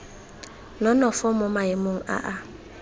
nonofo mo maemong a a